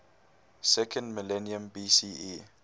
second millennium bce